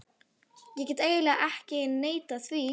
Ég get eiginlega ekki neitað því.